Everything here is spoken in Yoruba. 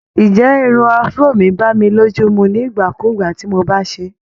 Ǹjẹ́ irun Afro mi bá mi lójú mu nígbà kugbà tí mo bá ṣe é?